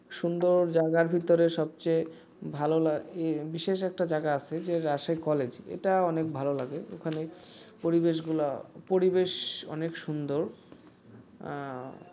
সুন্দর জায়গার ভিতরে সবচেয়ে ভালো লাগে বিশেষ একটা জায়গা আছে রাজশাহী কলেজ এটা অনেক ভালো লাগে ওখানে পরিবেশ গুলা পরিবেশ অনেক সুন্দর